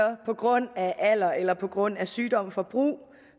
på grund af alder eller på grund af sygdom får brug